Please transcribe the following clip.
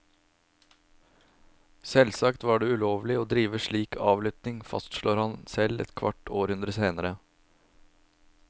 Selvsagt var det ulovlig å drive slik avlytting, fastslår han selv et kvart århundre senere.